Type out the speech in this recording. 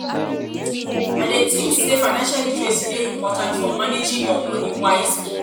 i dey think say financial literacy dey important for managing your money wisely.